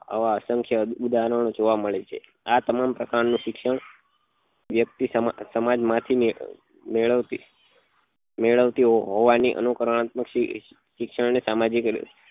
આવા અસંખ્ય ઉદાહરણ ઓ જોવા મળે છે આ તમામ પ્રકાર ના શિક્ષણ વ્યક્તિ સમાજ માંથી મેળવતી મેળવતી હોવા ની અનુંકરનાત્મક શિક્ષણ ને સામાજિક